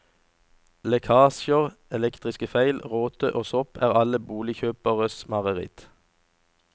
Lekkasjer, elektrisk feil, råte og sopp er alle boligkjøperes mareritt.